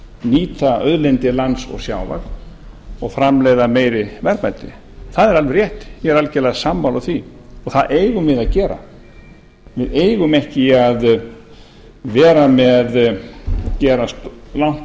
nýta auðlindir lands og sjávar og framleiða meiri verðmæti það er alveg rétt ég er algjörlega sammála því það eigum við að gera við eigum ekki að gera langt